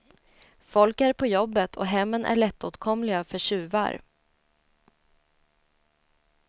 Folk är på jobbet och hemmen är lättåtkomliga för tjuvar.